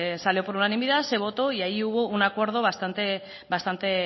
salió por unanimidad se votó y allí hubo un acuerdo bastante